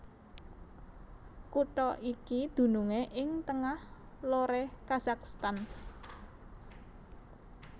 Kutha iki dunungé ing tengah loré Kazakhstan